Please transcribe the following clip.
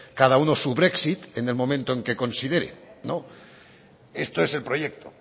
cada uno su brexit en el momento en que considere no esto es el proyecto